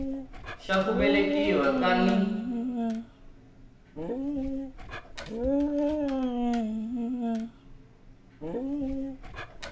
xa ku velekiwa ka n